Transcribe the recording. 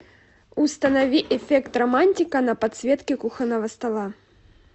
установи эффект романтика на подсветке кухонного стола